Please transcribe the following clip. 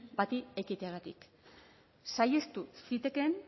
bati ekiteagatik saihestu zitekeen